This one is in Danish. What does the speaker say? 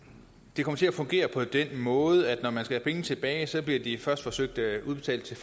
det kommer til at fungere på den måde at når man skal have penge tilbage bliver de først forsøgt udbetalt til